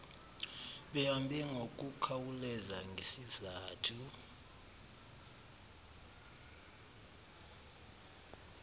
behambe ngokukhawuleza ngesizathu